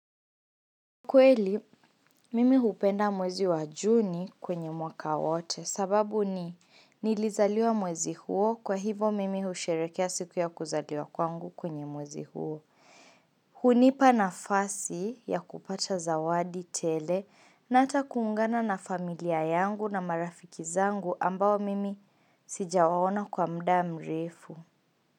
Kweli, mimi hupenda mwezi wa juni kwenye mwaka wote sababu ni nilizaliwa mwezi huo kwa hivo mimi husherekea siku ya kuzaliwa kwangu kwenye mwezi huo. Hunipa nafasi ya kupata zawadi tele na ata kuungana na familia yangu na marafiki zangu ambao mimi sija waona kwa mda mrefu.